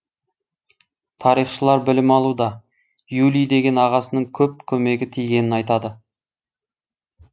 тарихшылар білім алуда юлий деген ағасының көп көмегі тигенін айтады